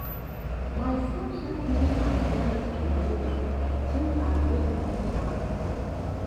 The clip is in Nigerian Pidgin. my phone help me apply for loan through agric money app.